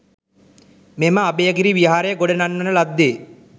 මෙම අභයගිරි විහාරය ගොඩ නංවන ලද්දේ